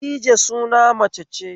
Khadija suna mace ce